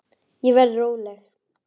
Ég verð róleg.